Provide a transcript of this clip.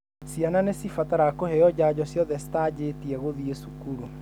Ciana nĩcibataraga kũheo janjo ciothe cĩtaanjĩtie gũthiĩ cukuru.